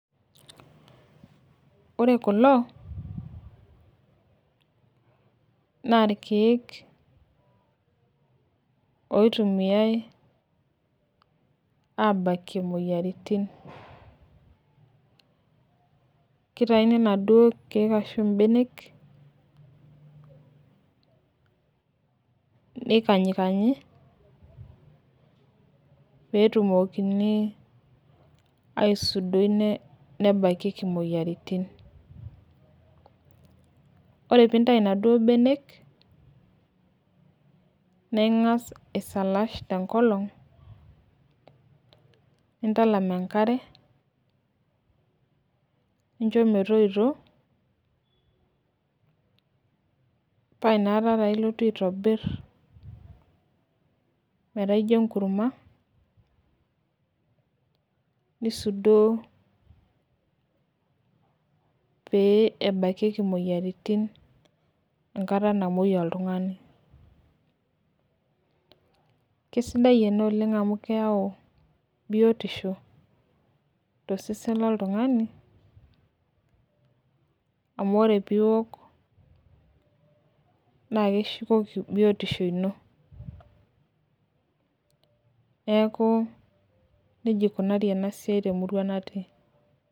Ore kulo, naa irkeek kitumiae atabakie imoyiaritin. kitayuni iladuoo keek ashu benek, neikanyikanyi, peetumokini aisudoi, ebakieki moyiaritin. ore pee intayu inaduoo benek, naa ingas aisalaash tenkolong, nintalam enkare. nincho metoito. paa inakata taa ilotu aitobir. metaa ijo enkurma. nisudoo, pee ebakieki imoyiaritin enkata namuoi oltungani. kesidai ena oleng amu keyau biotisho tosesen loltunngani. amu ore pee iok naa ekishukoki biotisho ino. neeku nejia eikunari ena siai temurua natii.